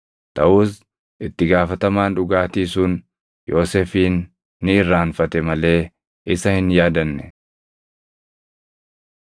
Taʼus itti gaafatamaan dhugaatii sun Yoosefin ni irraanfate malee isa hin yaadanne.